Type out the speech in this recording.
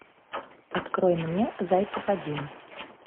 открой мне зайцев один